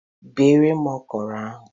Beere m okro ahụ.